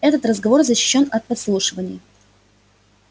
этот разговор защищён от подслушивания